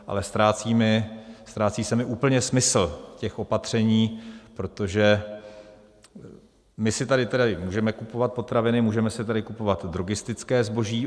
Ale ztrácí se mi úplně smysl těch opatření, protože my si tady tedy můžeme kupovat potraviny, můžeme si tady kupovat drogistické zboží.